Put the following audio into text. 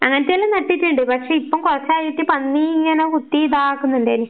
അങ്ങനത്തെ എല്ലാം നട്ടിട്ടുണ്ട്, പക്ഷെ ഇപ്പം കൊറച്ചായിട്ട് പന്നി ഇങ്ങനെ കുത്തി ഇതാക്കുന്നുണ്ടേനു.